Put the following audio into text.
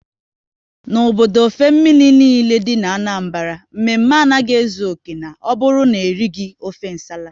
N'obodo ofe mmiri niile dị n'Anambra, mme mme anaghị ezu oké na ọ bụrụ na erighi ofe nsala